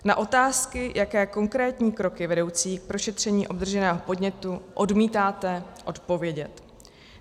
Na otázky, jaké konkrétní kroky vedoucí k prošetření obdrženého podnětu , odmítáte odpovědět.